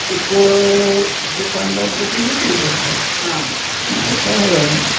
किरकोळ दुकानदार त्याची विक्री करतात आणि ह्याच्यामुळं